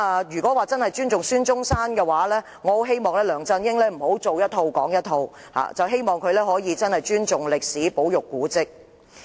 如真正尊重孫中山，我希望梁振英不要說一套、做一套，希望他真正尊重歷史、保育古蹟。